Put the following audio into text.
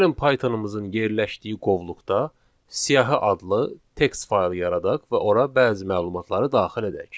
Gəlin Pythonumuzun yerləşdiyi qovluqda siyahı adlı text fayl yaradaq və ora bəzi məlumatları daxil edək.